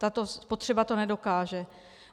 Tato spotřeba to nedokáže.